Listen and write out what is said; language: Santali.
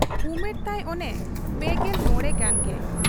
ᱩᱢᱮᱨ ᱛᱟᱭ ᱚᱱᱮ ᱯᱮᱜᱮᱞ ᱢᱚᱬᱮ ᱜᱟᱱᱜᱮ ᱾